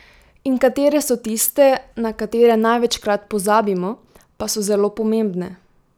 In katere so tiste, na katere največkrat pozabimo, pa so zelo pomembne?